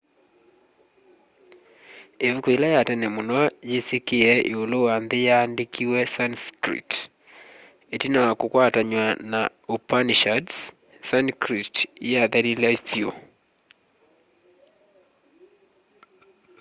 ivuku yila ya tene muno yisikie iulu wa nthi yaandikiwe sanskrit itina wa kukwatanwa na upanishads sanskrit yathelile vyu